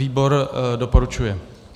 Výbor doporučuje.